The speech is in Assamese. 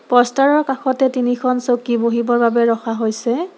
প'ষ্টাৰৰ কাষতে তিনিখন চকী বহিবৰ বাবে ৰখা হৈছে।